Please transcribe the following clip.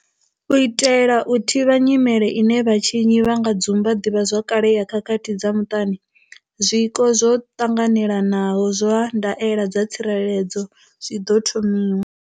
U itela u thivhela nyimele ine vhatshinyi vha nga dzumba ḓivha zwakale ya khakhathi dza muṱani, zwiko zwo ṱanganelanaho zwa ndaela dza tsireledzo zwi ḓo thomiwa.